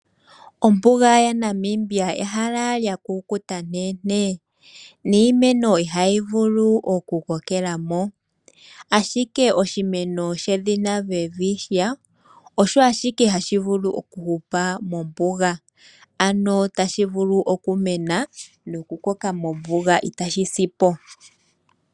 Ombuga yaNamibia ehala lya kukuta nteentee, niimeno ihayi vulu oku kokela mo. Ashike oshimeno shedhina Welwitschia osho ashike hashi vulu oku hupa mombuga, ano tashi vulu okumena no ku koka mombuga itaashi si po.